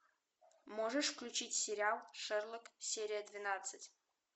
можешь включить сериал шерлок серия двенадцать